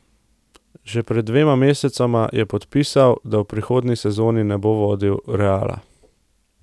Že pred dvema mesecema je podpisal, da v prihodnji sezoni ne bo vodil Reala.